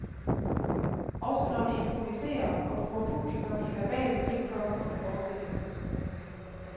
Også når vi improviserer og bruger publikum i verbal pingpong under forestillingen.